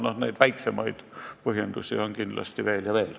Noh, neid väiksemaid põhjusi on kindlasti veel ja veel.